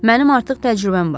Mənim artıq təcrübəm var.